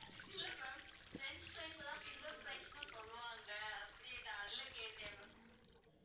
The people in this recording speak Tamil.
இல்ல ma'am french fries அ தான் finger fries னு சொல்லுவாங்க அப்படி அதனால கேட்டேன் ma'am